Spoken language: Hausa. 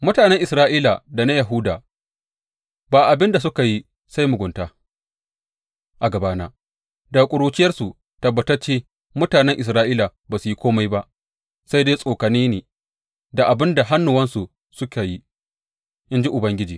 Mutanen Isra’ila da na Yahuda ba abin da suka yi sai mugunta a gabana daga ƙuruciyarsu; tabbatacce, mutanen Isra’ila ba su yi kome ba sai dai tsokane ni da abin da hannuwansu suka yi, in ji Ubangiji.